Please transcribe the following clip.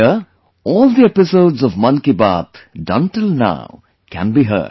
Here, all the episodes of 'Mann Ki Baat' done till now can be heard